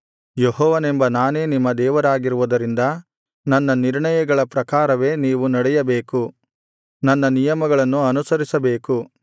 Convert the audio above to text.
ಯೆಹೋವನೆಂಬ ನಾನೇ ನಿಮ್ಮ ದೇವರಾಗಿರುವುದರಿಂದ ನನ್ನ ನಿರ್ಣಯಗಳ ಪ್ರಕಾರವೇ ನೀವು ನಡೆಯಬೇಕು ನನ್ನ ನಿಯಮಗಳನ್ನು ಅನುಸರಿಸಬೇಕು